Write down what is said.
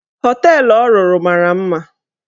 Họteelụ ọ rụrụ mara mma.